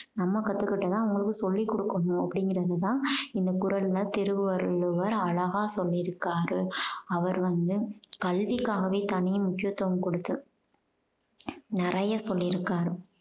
நம்ம கத்துக்கிட்டத அவங்களுக்கு சொல்லி கொடுக்கணும் அப்படீங்கறது தான் இந்த குறள்ல திருவள்ளுவர் அழகா சொல்லி இருக்காரு. அவர் வந்து கல்விக்காகவே தனி முக்கியத்துவம் கொடுத்து நிறைய சொல்லியிருக்காரு.